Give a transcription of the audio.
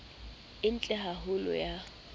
e ntle ha holo ya